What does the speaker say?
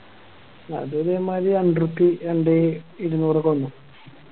അതൊരു ഒരുമാരി രണ്ടുറുപ്പിയെ രണ്ടേ ഇരുന്നൂറോക്കെ വന്നു